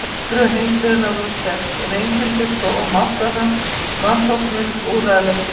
Viðbrögð heimsbyggðarinnar voru sterk, en einkenndust af máttvana vanþóknun og úrræðaleysi.